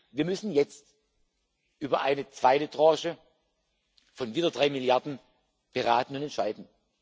Wir müssen jetzt über eine zweite Tranche von diesen drei Milliarden beraten und entscheiden.